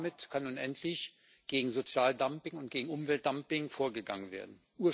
Damit kann nun endlich gegen Sozialdumping und gegen Umweltdumping vorgegangen werden.